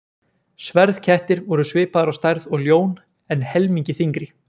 Sverðkettir voru svipaðir á stærð og ljón en helmingi þyngri.